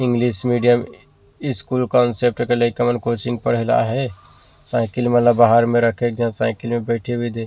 English medium school concept के लइका मन कोचिंग पढ़े ला आ हे साइकिल मन ला बाहर में रखे हे एक झन साइकिल में बैठे हुए दे --